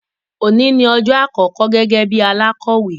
Oni ni ọjọ́ àkọkọ gẹ́gẹ́ bí alakọ̀wé.